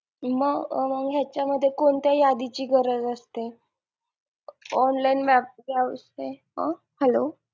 मग मग ह्यांच्यामध्ये कोणत्या यादीची गरज असते online map हा hello